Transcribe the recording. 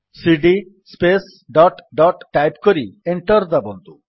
ସିଡି space dot dot type କରି enter ଦାବନ୍ତୁ